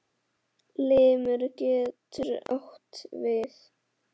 Limur getur átt við